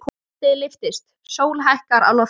Landið lyftist, sól hækkar á lofti.